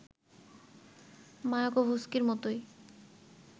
মায়াকোভস্কির মতই